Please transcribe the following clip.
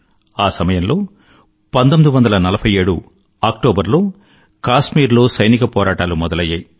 ఆ సమయంలో 1947 అక్టోబర్ లో కాశ్మీరులో సైనిక పోరాటాలు మొదలయ్యాయి